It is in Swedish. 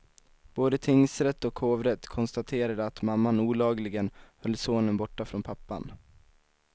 Både tingsrätt och hovrätt konstaterade att mamman olagligen höll sonen borta från pappan.